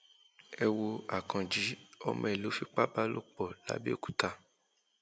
ẹ wo akànji ọmọ ẹ ló fipá bá lò pọ làbẹòkúta